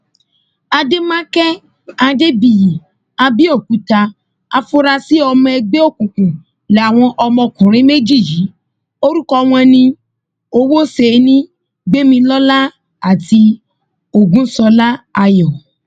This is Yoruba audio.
àdèmàkè adébíyì àbẹòkúta àfúrásì ọmọ ẹgbẹ òkùnkùn làwọn ọmọkùnrin méjì yìí orúkọ wọn ní owóṣẹni gbẹmilọlá àti ogunṣọlá ayọ